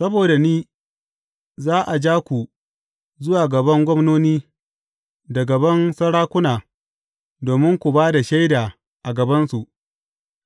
Saboda ni, za a ja ku zuwa gaban gwamnoni da gaban sarakuna domin ku ba da shaida a gabansu,